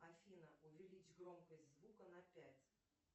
афина увеличь громкость звука на пять